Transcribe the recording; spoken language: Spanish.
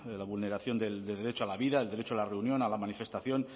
la vulneración del derecho a la vida el derecho a la reunión a la manifestación